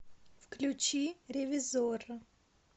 включи ревизорро